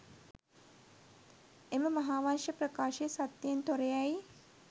එම මහාවංශ ප්‍රකාශය සත්‍යයෙන් තොර යැයි